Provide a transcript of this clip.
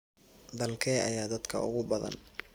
Dalkee ayaa dadka ugu badan?